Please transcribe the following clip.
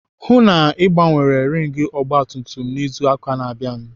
Hụụ na Ị gbanwere rings ọgbatumtum izu ụka na-abịanụ!